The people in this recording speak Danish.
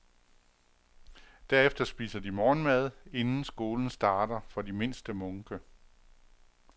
Derefter spiser de morgenmad, inden skolen starter for de mindste munke.